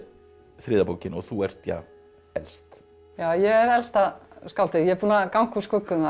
þriðja bókin og þú ert ja elst ég er elsta skáldið ég er búin að ganga úr skugga um það